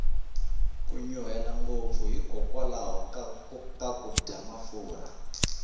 ku nyuhela ngopfu hi kokwalaho ko dya mafurha